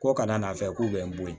Ko kana n'a fɛ k'u bɛ n bon